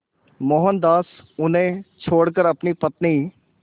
मोहनदास उन्हें छोड़कर अपनी पत्नी